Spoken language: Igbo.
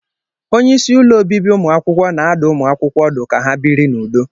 onye isi ụlọ obibi ụmụ akwụkwọ na-adụ ụmụ akwụkwọ ọdụ ka ha biri n'udo